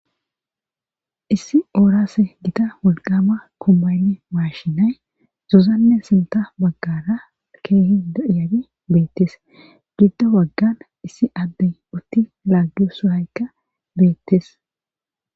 issi oorase gita wolqama kombayne maashinay zuzanne sinta maggara keehi do iyabi beettes giddo waggan issi addey utti laaggio suhaykka beettes